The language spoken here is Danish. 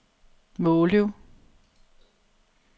Måløv